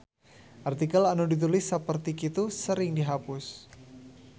Artikel anu ditulis saperti kitu sering dihapus.